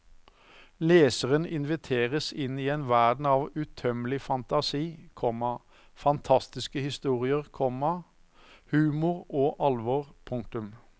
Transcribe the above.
Leseren inviteres inn i en verden av utømmelig fantasi, komma fantastiske historier, komma humor og alvor. punktum